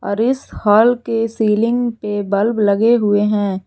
और इस हॉल के सीलिंग पे बल्ब लगे हुए हैं।